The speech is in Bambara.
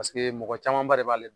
Paseke mɔgɔ camanba de b'ale